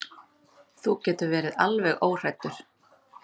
Þú getur verið alveg óhræddur.